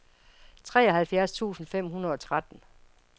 treoghalvfjerds tusind fem hundrede og tretten